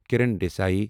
Kiran Desai